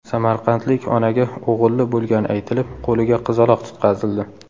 Samarqandlik onaga o‘g‘illi bo‘lgani aytilib, qo‘liga qizaloq tutqazildi.